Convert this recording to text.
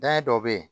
Dan ye dɔ bɛ yen